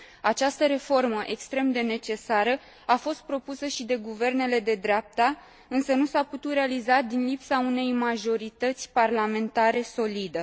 Această reformă extrem de necesară a fost propusă și de guvernele de dreapta, însă nu s a putut realiza din lipsa unei majorități parlamentare solide.